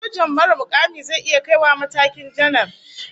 Sojan marar mukami zai iya kai wa matakin janar